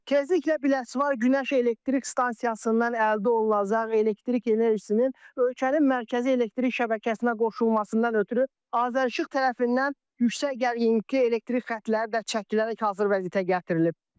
Tezliklə Biləsuvar günəş elektrik stansiyasından əldə olunacaq elektrik enerjisinin ölkənin mərkəzi elektrik şəbəkəsinə qoşulmasından ötrü Azərişıq tərəfindən yüksək gərginlikli elektrik xətləri də çəkilərək hazır vəziyyətə gətirilib.